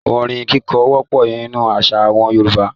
Orin kíkọ wọ́pọ̀ nínú àṣà àwọn Yorùbá.